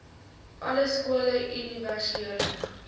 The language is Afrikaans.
alle skole universele